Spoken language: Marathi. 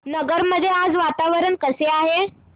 नगर मध्ये आज वातावरण कसे आहे